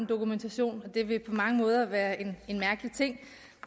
dokumentation og det ville på mange måder være en mærkelig ting